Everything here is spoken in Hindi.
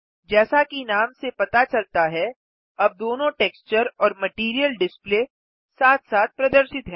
जैसा कि नाम से पता चलता है अब दोनों टेक्सचर और मटैरियल डिस्प्ले साथ साथ प्रदर्शित हैं